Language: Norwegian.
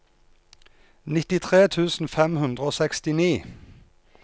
nittitre tusen fem hundre og sekstini